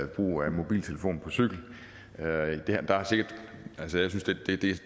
brug af mobiltelefon på cykel der